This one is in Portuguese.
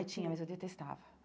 Ai, tinha, mas eu detestava.